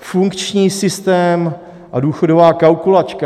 Funkční systém a důchodová kalkulačka.